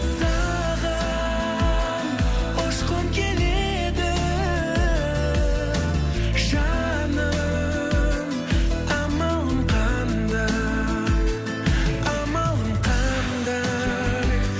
саған ұшқым келеді жаным амалым қандай амалым қандай